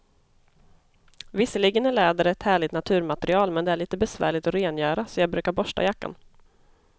Visserligen är läder ett härligt naturmaterial, men det är lite besvärligt att rengöra, så jag brukar borsta jackan.